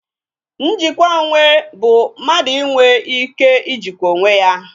Njikwa onwe bụ mmadụ inwe ike Ijikwa onwe ya